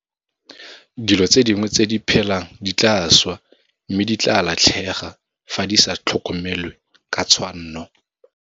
Dilo tse dingwe tse di phelang di tlaa swa mme di tlaa latlhega fa di sa tlhokomelwe ka tshwanno.